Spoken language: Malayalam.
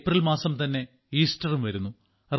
ഏപ്രിൽ മാസം തന്നെ ഈസ്റ്ററും വരുന്നു